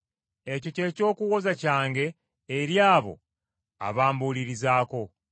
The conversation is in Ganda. Ekyo ky’eky’okuwoza kyange eri abo abambulirizaako.